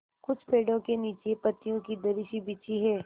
कुछ पेड़ो के नीचे पतियो की दरी सी बिछी है